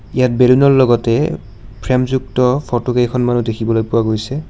ইয়াত বেলুনৰ লগতেই ফ্ৰেমযুক্ত ফটো কেইখনমানো দেখিবলৈ পোৱা গৈছে।